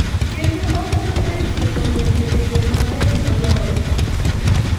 Kendo okonyo e tieko lwenje e yo maber moloyo.